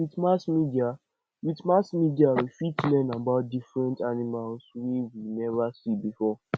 with mass media with mass media we fit learn about different animals wey we never see before